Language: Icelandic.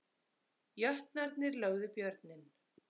Jötnarnir lögðu Björninn